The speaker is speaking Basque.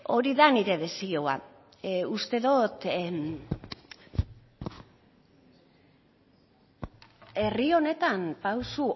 hori da nire desioa uste dot herri honetan pauso